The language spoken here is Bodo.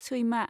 सैमा